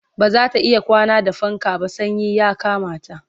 bazata iya kwana da fanka ba sanyi ya Kamata